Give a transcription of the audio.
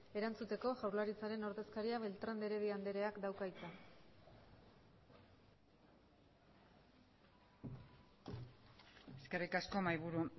erantzuteko jaurlaritzaren ordezkaria beltrán de heredia andreak dauka hitza eskerrik asko mahaiburu